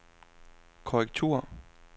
korrektur